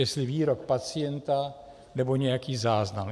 Jestli výrok pacienta, nebo nějaký záznam.